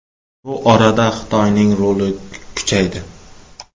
Bu orada Xitoyning roli kuchaydi.